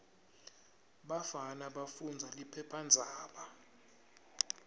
bafana bafundza liphephandzaba